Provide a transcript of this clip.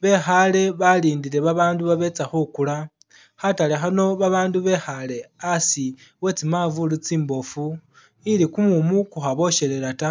bekhale balindile ba bandu babetsa khukula khatale khano ba bandu bekhale asi we tsimanvulu tsimbofu ili kumumu ku khaboshelela ta